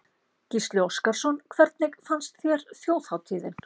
Gísli Óskarsson: Hvernig fannst þér þjóðhátíðin?